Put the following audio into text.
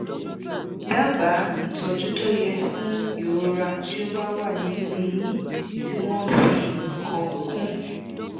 dábàá ìtọ́jú tó yẹ fún ìrora tó bá wà nínú eyín tí wọ́n fi nǹkan kún?